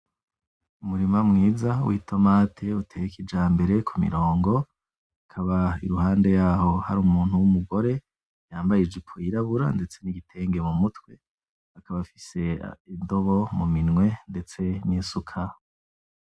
Umurima mwiza w'itomati uteye kijambere ku mirongo ikaba iruhande yaho hari umuntu w'umugore yambaye ijipo yirabura ndetse n'igitenge mu mutwe akaba afise indobo mu minwe ndetse n'isuka.